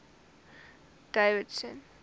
davidson